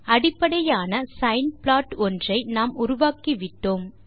அடிப்படையான sine plot ஒன்றை நாம் உருவாக்கி விட்டோம்